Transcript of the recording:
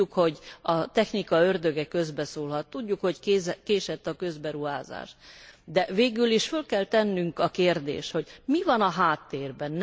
Tudjuk, hogy a technika ördöge közbeszólhat, tudjuk, hogy késett a közberuházás, de végül is föl kell tennünk a kérdést, hogy mi van a háttérben?